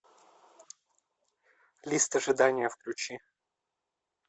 лист ожидания включи